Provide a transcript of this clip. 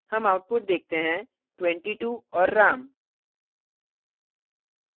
ram output देखते हैं 22 और ram